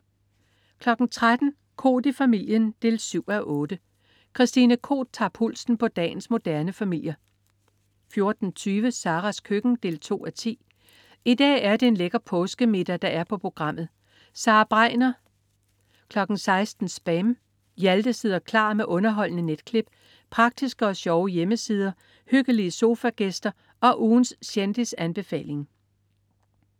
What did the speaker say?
13.00 Koht i familien 7:8. Christine Koht tager pulsen på dagens moderne familier 14.20 Saras køkken 2:10. I dag er det en lækker påskemiddag, der er på programmet. Sara Bregner 16.00 SPAM. Hjalte sidder klar med underholdende netklip, praktiske og sjove hjemmesider, hyggelige sofagæster og ugens kendisanbefaling